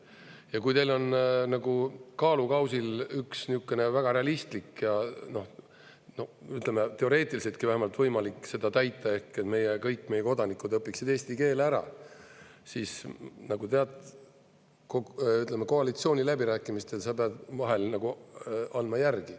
Ja kui teil on nagu kaalukausil üks niisugune väga realistlik ja, ütleme, teoreetiliseltki vähemalt võimalik seda täita, et kõik meie kodanikud õpiksid eesti keele ära, siis koalitsiooniläbirääkimistel sa pead vahel andma järgi.